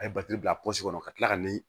A ye bila kɔnɔ ka kila ka ni